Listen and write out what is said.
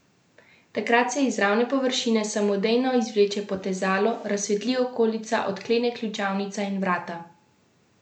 Takrat se iz ravne površine samodejno izvleče potezalo, razsvetli okolica, odklene ključavnica in vrata odprejo.